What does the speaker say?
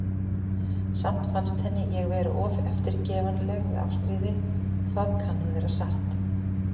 Samt fannst henni ég vera of eftirgefanleg við Ástríði, og það kann að vera satt.